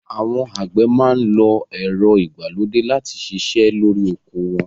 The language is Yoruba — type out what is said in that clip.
Àwọn àgbẹ̀ máa ń lo ẹ̀rọ ìgbàlódé láti ṣiṣẹ́ lórí oko wọn